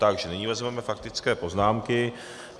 Takže nyní vezmeme faktické poznámky.